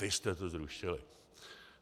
Vy jste to zrušili.